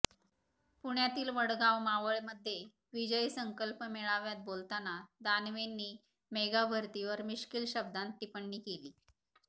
पुण्यातील वडगाव मावळमध्ये विजयी संकल्प मेळाव्यात बोलताना दानवेंनी मेगाभरतीवर मिष्किल शब्दांत टिपण्णी केली